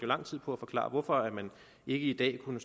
lang tid på at forklare hvorfor man i dag ikke kunne